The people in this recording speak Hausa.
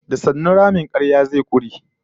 Da sannu ramin karya zai kure